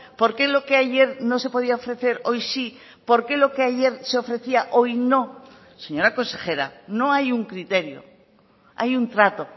por qué lo que ayer no se podía ofrecer hoy sí por qué lo que ayer se ofrecía hoy no señora consejera no hay un criterio hay un trato